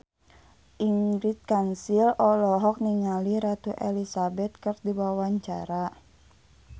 Ingrid Kansil olohok ningali Ratu Elizabeth keur diwawancara